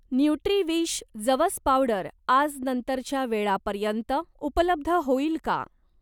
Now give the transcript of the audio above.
न्युट्रीविश जवस पावडर आज नंतरच्या वेळापर्यंत उपलब्ध होईल का?